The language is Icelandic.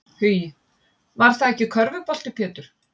Hugi: Var það ekki körfubolti Pétur?